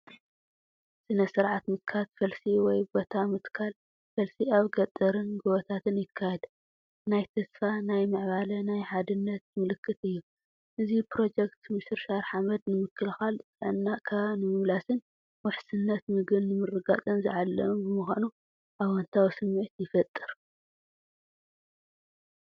ስነ-ስርዓት ምትካል ፈልሲ ወይ ቦታ ምትካል ፈልሲ ኣብ ገጠርን ጎቦታትን ይካየድ። ናይ ተስፋ፣ ናይ ምዕባለ፣ ናይ ሓድነት ምልክት እዩ። እዚ ፕሮጀክት ምሽርሻር ሓመድ ንምክልኻል፣ ጥዕና ከባቢ ንምምላስን ውሕስነት መግቢ ንምርግጋፅን ዝዓለመ ብምዃኑ ኣወንታዊ ስምዒት ይፈጥር።